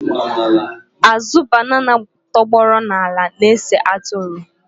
Azụ banana tọgbọrọ n'ala na-ese atụrụ.